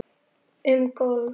Um golf